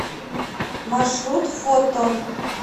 маршрут фотон